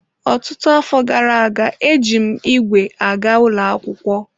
Ọtụtụ afọ gara aga, eji m ígwè aga ụlọ akwụkwọ.